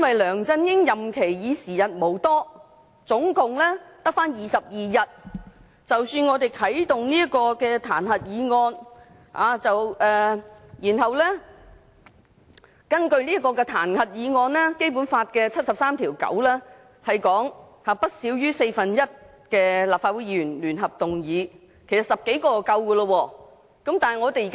梁振英的任期已經時日無多，只剩下22天，我們啟動彈劾議案，然後根據《基本法》第七十三條第九項所訂，由不少於四分之一的立法會議員聯合動議議案，其實10多位議員已足夠。